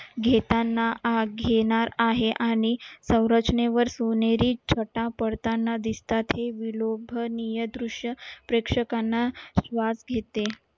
घेताना घेणार आहे आणि सौरचनेवर सोनेरी छता पडताना दिसतात हे विलोभनीय दृश्य प्रेक्षकांना